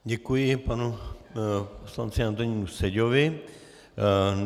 Děkuji panu poslanci Antonínu Seďovi.